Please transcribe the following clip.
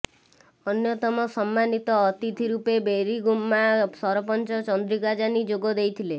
ଅନ୍ୟତମ ସମ୍ମାନିତ ଅତିଥି ରୂପେ ବୋରିଗୁମ୍ମା ସରପଞ୍ଚ ଚନ୍ଦ୍ରିକା ଯାନୀ ଯୋଗ ଦେଇଥିଲେ